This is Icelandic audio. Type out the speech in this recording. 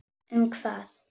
Um hvað?